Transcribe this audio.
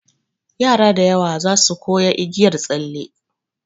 Yara da yawa zasu koya igiyar tsalle.